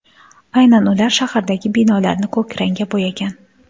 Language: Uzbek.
Aynan ular shahardagi binolarni ko‘k rangga bo‘yagan.